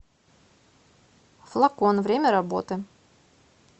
флакон время работы